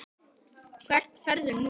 Hvert ferðu nú?